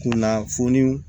Kunnafoniw